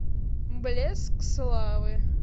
блеск славы